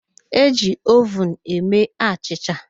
E ji ovun eme achịcha